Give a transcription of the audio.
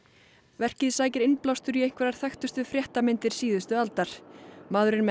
verkið sækir innblástur í einhverjar þekktustu fréttamyndir síðustu aldar maðurinn með